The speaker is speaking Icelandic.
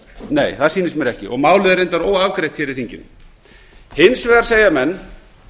nei það sýnist mér ekki og málið er reyndar óafgreitt hér í þinginu hins vegar segja menn